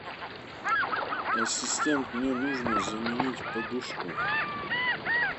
ассистент мне нужно заменить подушку